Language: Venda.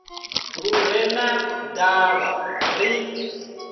lu re na ndavha ri